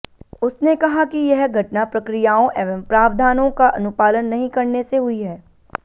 उसने कहा कि यह घटना प्रक्रियाओं एवं प्रावधानों का अनुपालन नहीं करने से हुई है